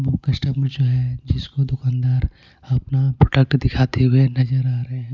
वो कस्टमर जो है जिसको दुकानदार अपना प्रोडक्ट दिखाते हुए नजर आ रहे हैं.